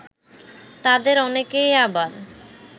তাদের অনেকেই আবার